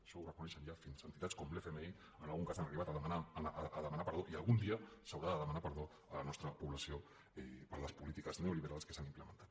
això ho reconeixen ja fins entitats com l’fmi en algun cas han arribat a demanar perdó i algun dia s’haurà de demanar perdó a la nostra població per les polítiques neoliberals que s’han implementat